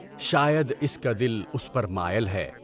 شاید اس کا دل اس پر مائل ہے۔